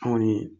Anw kɔni